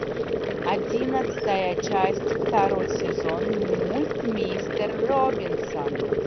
одиннадцатая часть второй сезон мульт мистер робинсон